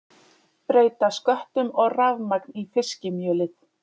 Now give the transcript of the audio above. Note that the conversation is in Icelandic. Breyta sköttum og rafmagn í fiskimjölið